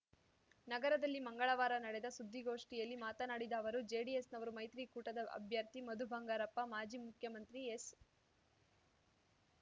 ನಗರದಲ್ಲಿ ಮಂಗಳವಾರ ನಡೆದ ಸುದ್ದಿಗೋಷ್ಠಿಯಲ್ಲಿ ಮಾತನಾಡಿದ ಅವರು ಜೆಡಿಎಸ್‌ನವರು ಮೈತ್ರಿಕೂಟದ ಅಭ್ಯರ್ಥಿ ಮಧು ಬಂಗಾರಪ್ಪ ಮಾಜಿ ಮುಖ್ಯಮಂತ್ರಿ ಎಸ್‌